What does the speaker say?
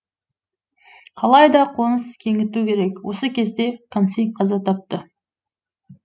қалайда қоныс кеңіту керек осы кезде канси қаза тапты